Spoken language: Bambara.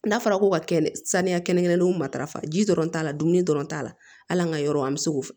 N'a fɔra ko ka kɛnɛ saniya kɛnɛ kɛnɛw matarafa ji dɔrɔn t'a la dumuni dɔrɔn t'a la hali an ka yɔrɔ an bɛ se k'o fɔ